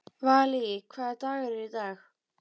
Valý, hvaða dagur er í dag?